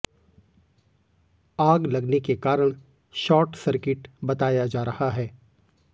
आग लगने के कारण शार्ट सर्किट बताया जा रहा है